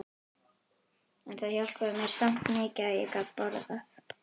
En það hjálpaði mér samt mikið að ég gat borðað.